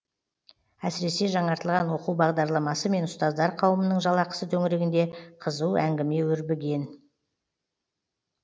әсіресе жаңартылған оқу бағдарламасы мен ұстаздар қауымының жалақысы төңірегінде қызу әңгіме өрбіген